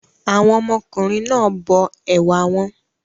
Àwọn ọmọkùnrin náà bọ ẹ̀wà wọn.